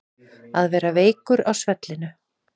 Að vera veikur á svellinu